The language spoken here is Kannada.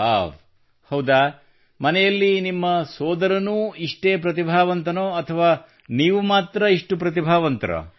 ವ್ಹಾವ್ ಹೌದಾ ಮನೆಯಲ್ಲಿ ನಿಮ್ಮ ಸೋದರನೂ ಇಷ್ಟೇ ಪ್ರತಿಭಾವಂತನೇ ಅಥವಾ ನೀವು ಮಾತ್ರ ಇಷ್ಟು ಪ್ರತಿಭಾವಂತರೋ